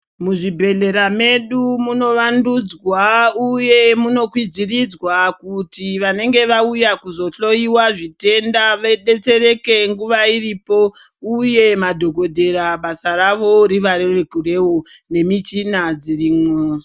Muzvibhehlera medu munovandudzwa uye munokwidziridzwa kuti vanenge vauya kuzohloiwa zvitenda vadetsereke nguva iripo uye madhokodhera basa ravo rivarerukirevo uye nemuchina dzirimwo.